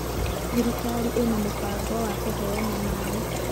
thirikari ĩna mũbango wa kũheana maĩ.